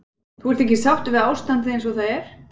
Þú ert ekki sáttur við ástandið eins og það er?